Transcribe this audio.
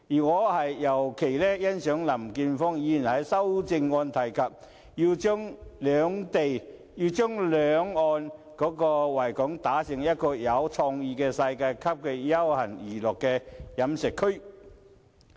我尤其欣賞林健鋒議員在修正案提及，要將維港兩岸打造成有創意的世界級休閒娛樂飲食區。